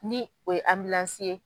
Ni o ye ye